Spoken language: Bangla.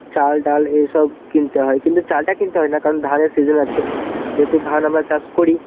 চাল ডাল এসব কিনতে হয়. কিন্তু চালটা কিনতে হয় না. কারণ ধানের season আছে. যেহেতু ধান আমরা চাষ করি.